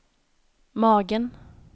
magen